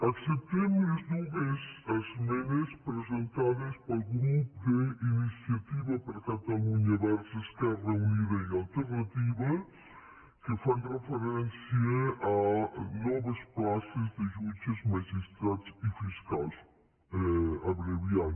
acceptem les dues esmenes presentades pel grup d’iniciativa per catalunya verds esquerra unida i alternativa que fan referència a noves places de jutges magistrats i fiscals abreviant